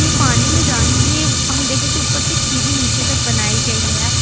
ये पानी में जाने के लिए हम देखे तो ऊपर से एक सीढ़ी नीचे तक बनाई गई है।